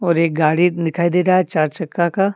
और एक गाड़ी दिखाई दे रहा है चार चक्का का।